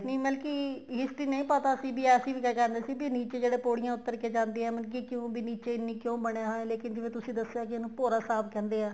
ਨਹੀਂ ਮਤਲਬ ਕੀ history ਨਹੀਂ ਪਤਾ ਸੀ ਵੀ ਅਸੀਂ ਵੀ ਤਾਂ ਜਾਂਦੇ ਸੀ ਵੀ ਨੀਚੇ ਜਿਹੜੇ ਪੋੜੀਆ ਉੱਤਰ ਕੇ ਜਾਂਦੇ ਏ ਮਤਲਬ ਕੀ ਕਿਉ ਵੀ ਨੀਚੇ ਇੰਨੀ ਕਿਉ ਬਣਿਆ ਹੋਇਆ ਹੈ ਲੇਕਿਨ ਜਿਵੇਂ ਤੁਸੀਂ ਦੱਸਿਆ ਇਹਨੂੰ ਭੋਰਾ ਸਾਹਿਬ ਕਹਿੰਦੇ ਏ